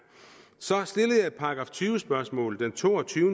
så stillede jeg et § tyve spørgsmål den to og tyve